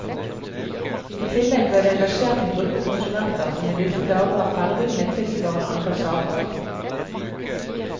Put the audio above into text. I tillegg ble det engasjert en gruppe konsulenter som i disse dager er ferdig med et tilsvarende antall saker.